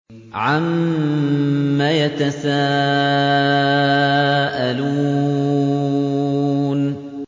عَمَّ يَتَسَاءَلُونَ